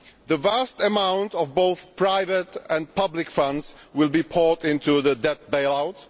The vast amount of both private and public funds will be poured into the debt bailouts.